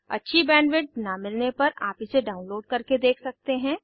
अच्छी बैंडविड्थ न मिलने पर आप इसे डाउनलोड करके देख सकते हैं